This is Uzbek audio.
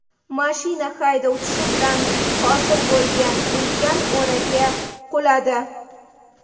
Mashina haydovchisi bilan hosil bo‘lgan ulkan o‘raga quladi.